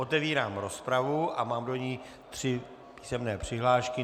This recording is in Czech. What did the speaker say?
Otevírám rozpravu a mám do ní tři písemné přihlášky.